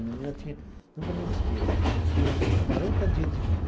A menina tinha, nunca me esqueço, tinha quarenta dias de vida.